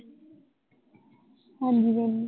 ਹਾਂਜੀ